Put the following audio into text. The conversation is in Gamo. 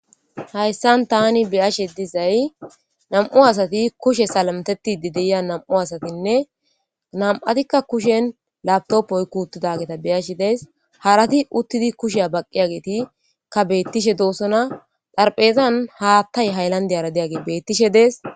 hayssan tani beyashe dizay nam7u asati kushe salamtetide deya nam7u asatinne nam7atikka kushen labtoppoy kuuttidageta beyashe dees harati uttidi kusheya baqqi agetikka beettishe doosona xharphezan haattay hayllandiyara deyage beettishe dees